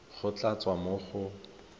go tla tswa mo go